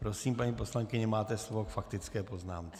Prosím, paní poslankyně, máte slovo k faktické poznámce.